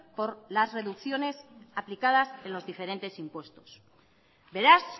por las reducciones aplicadas en los diferentes impuestos beraz